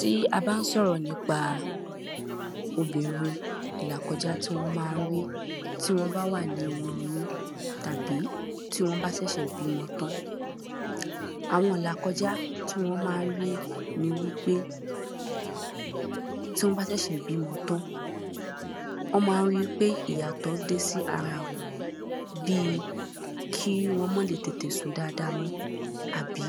tí a bà ń sọ̀rọ̀ nípa obìnrin, ìlàkọjá tí wọ́n ma ń rí tí wọ́n bá wà nínu oyún tàbí tí wọ́n bá ṣẹ̀ṣẹ̀ bímọ tán àwọn ìlàkọjá tí wọ́n ma ń rí ni wípé, tí wọ́n bá ṣẹ̀ṣẹ̀ bímọ tán wọ́n ma ń ríi wípé ìyàtọ̀ dé sí ara wọ́n bii ki wọ́n má lè tètè sùn dáadáa mọ́, àbí